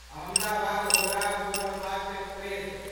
Ahmedabad Howrah superfast express